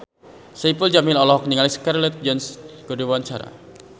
Saipul Jamil olohok ningali Scarlett Johansson keur diwawancara